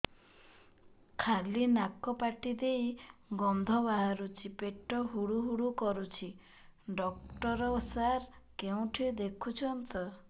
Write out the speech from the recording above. ଖାଲି ନାକ ପାଟି ଦେଇ ଗଂଧ ବାହାରୁଛି ପେଟ ହୁଡ଼ୁ ହୁଡ଼ୁ କରୁଛି ଡକ୍ଟର ସାର କେଉଁଠି ଦେଖୁଛନ୍ତ